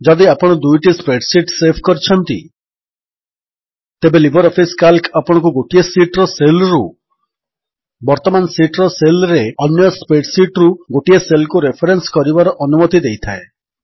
ଯଦି ଆପଣ ଦୁଇଟି ସ୍ପ୍ରେଡ୍ ଶୀଟ୍ସ ସେଭ୍ କରିଛନ୍ତି ତେବେ ଲିବର୍ ଅଫିସ୍ କାଲ୍କ ଆପଣଙ୍କୁ ଗୋଟିଏ ଶୀଟ୍ ର ସେଲ୍ ରୁ ବର୍ତ୍ତମାନ ଶୀଟ୍ ର ସେଲ୍ ରେ ଅନ୍ୟ ସ୍ପ୍ରେଡ୍ ଶୀଟ୍ ରୁ ଗୋଟିଏ ସେଲ୍ କୁ ରେଫରେନ୍ସ କରିବାର ଅନୁମତି ଦେଇଥାଏ